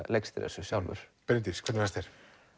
leikstýra þessu sjálfur Bryndís hvernig fannst þér